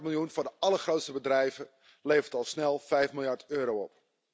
Een kwart miljoen voor de allergrootste bedrijven levert al snel 5 miljard euro op.